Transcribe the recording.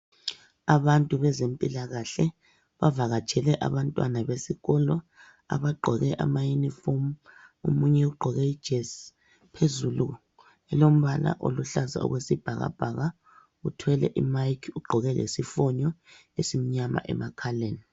Abantu bezempilakahle bavakatshele abantwana besikolo. Abagqoke ama uniform, omunye ugqoke ijesi .Phezulu ilombala oluhlaza okwesibhakabhaka, uthwele imayikhi ,ugqoke lesifonyo esimnyama emakhaleni.